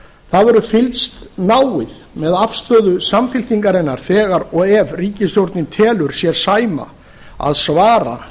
það verður fylgst náið með afstöðu samfylkingarinnar þegar og ef ríkisstjórnin telur sér sæma að svara